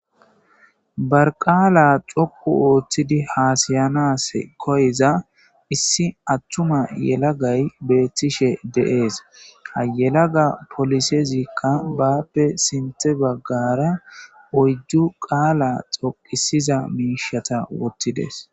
ba qaala dhoqu ooththidi haasayanas koyiza issi attuma yelagay beethtishe de7ees haa yelaga polisezikka baappe sinththe baggara oyddu qaala dhoqisiza miishata wothidees